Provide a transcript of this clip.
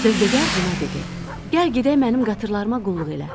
Sövdəgar buna dedi: Gəl gedək mənim qatırlarıma qulluq elə.